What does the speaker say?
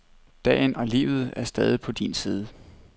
Dagen og livet er stadig på din side.